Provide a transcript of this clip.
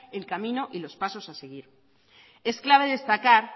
el camino y los pasos a seguir es clave destacar